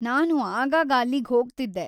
ನಾನು ಆಗಾಗ ಅಲ್ಲಿಗ್ಹೋಗ್ತಿದ್ದೆ.